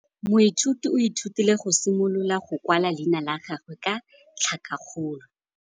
Moithuti o ithutile go simolola go kwala leina la gagwe ka tlhakakgolo.